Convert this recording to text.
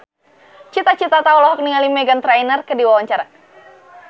Cita Citata olohok ningali Meghan Trainor keur diwawancara